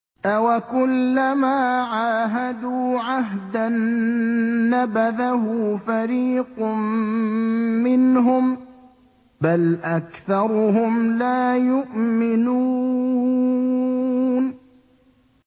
أَوَكُلَّمَا عَاهَدُوا عَهْدًا نَّبَذَهُ فَرِيقٌ مِّنْهُم ۚ بَلْ أَكْثَرُهُمْ لَا يُؤْمِنُونَ